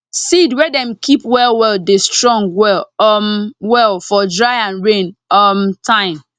seed wey dem keep well well dey strong well um well for dry and rain um time